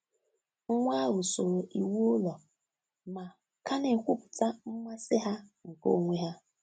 Nwa ahụ soro iwu ụlọ ma ka na-ekwupụta mmasị ha nke onwe ha.